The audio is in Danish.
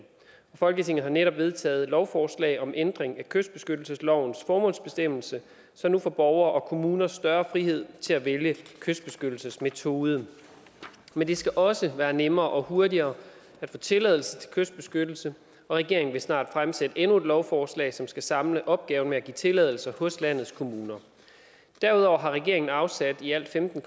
folketinget har netop vedtaget et lovforslag om ændring af kystbeskyttelseslovens formålsbestemmelse så nu får borgere og kommuner større frihed til at vælge kystbeskyttelsesmetode men det skal også være nemmere og hurtigere at få tilladelse til kystbeskyttelse og regeringen vil snart fremsætte endnu et lovforslag som skal samle opgaven med at give tilladelse hos landets kommuner derudover har regeringen afsat i alt femten